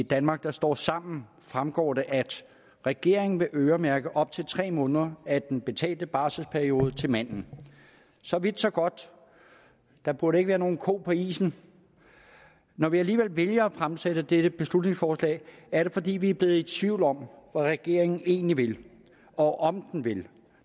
danmark der står sammen fremgår det at regeringen vil øremærke op til tre måneder af den betalte barselsperiode til manden så vidt så godt der burde ikke være nogen ko på isen når vi alligevel vælger at fremsætte dette beslutningsforslag er det fordi vi er blevet i tvivl om regeringen egentlig vil og om den vil